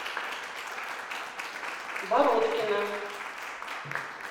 бородкина